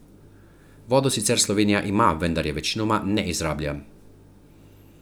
Vodo sicer Slovenija ima, vendar je večinoma ne izrablja.